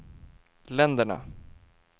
länderna